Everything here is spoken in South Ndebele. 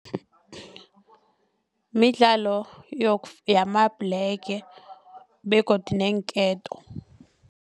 Midlalo yamabhlege begodu neenketo.